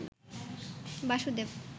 Basudeb